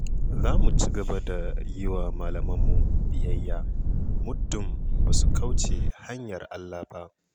Za mu ci gaba da yi wa malamanmu biyyaya, muddun ba su kauce hanyar Allah ba.